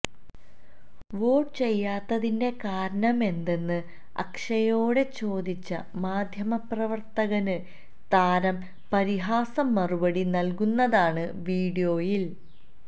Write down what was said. vote ചെയ്യാത്തതിന്റെ കാരണമെന്തെന്ന് അക്ഷയോട് ചോദിച്ച മാധ്യമപ്രവര്ത്തകന് താരം പരിഹാസ മറുപടി നല്കുന്നതാണ് വിഡിയോയില്